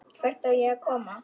Hvert á ég að koma?